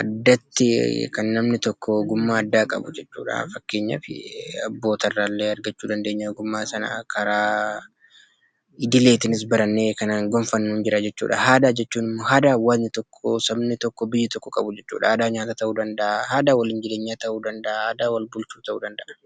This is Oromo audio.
Addatti kan namni tokko ogummaa addaa qabu jechuudha. Fakkeenyaaf abboota iraa illee argachuu dandeenya ogummaa kana, karaa idileetiinis kan gonfannu ni jira jechuudha. Aadaa jechuun immoo aadaa hawwaasni tokko, sabni tokko, biyyi tokko qabu jechuudha. Aadaa nyaataa ta'uu danda’a, aadaa waliin jireenyaa ta'uu danda’a, aadaa wal bulchuu ta'uu danda’a.